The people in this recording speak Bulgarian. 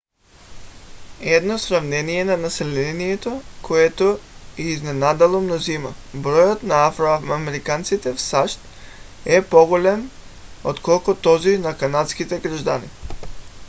едно сравнение на населението което е изненадало мнозина: броят на афро-американците в сащ е по-голям отколкото този на канадските граждани